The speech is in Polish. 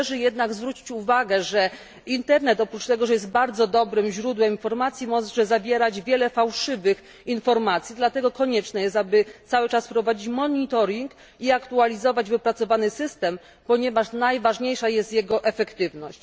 Należy jednak zwrócić uwagę, że internet oprócz tego, że jest bardzo dobrym źródłem informacji może zawierać wiele fałszywych informacji, dlatego konieczne jest, aby cały czas prowadzić monitoring i aktualizować wypracowany system, ponieważ najważniejsza jest jego efektywność.